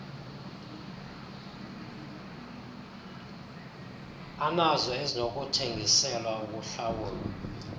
anazo ezinokuthengiselwa ukuhlawulwa